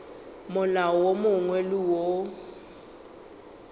molao wo mongwe le wo